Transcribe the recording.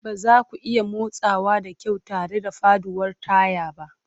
Ba za ku iya motsawa da kyau tare da faɗuwar taya ba.